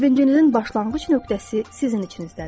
Sevincinizin başlanğıc nöqtəsi sizin içinizdədir.